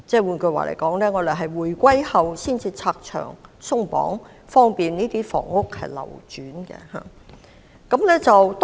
換言之，政府在回歸後才拆牆鬆綁，以便居屋流轉。